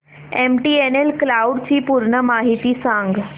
MTNL cloud ची पूर्ण माहिती सांग